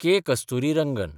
K. Kasturirangan